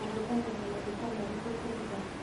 Mũhũthĩraga maguta marĩkũ kũruga?